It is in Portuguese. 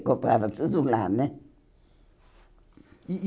comprava tudo lá, né? E e